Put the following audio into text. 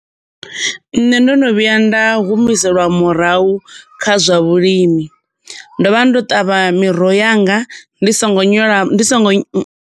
Nṋe ndo no vhuya nda humiseliwa murahu kha zwa vhulimi. Ndo vha ndo ṱavha miroho yanga ndi songo nyola, ndi songo.